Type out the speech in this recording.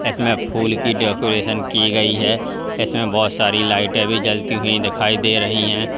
इसमें फूल की डेकोरेशन की गई है इसमें बहोत सारी लाइटें भी जलती हुई दिखाई दे रही है।